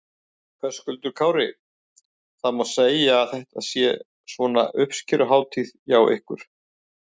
Höskuldur Kári: Það má segja að þetta sé svona uppskeruhátíð hjá ykkur?